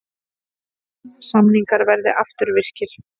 Samningar verði afturvirkir